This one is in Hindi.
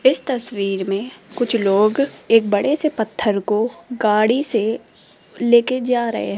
इस तस्वीर में कुछ लोग एक बड़े से पत्थर को गाड़ी से लेके जा रहे --